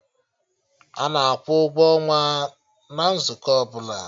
Ana akwụ ụgwọ ọnwa na nzukọ ọbụla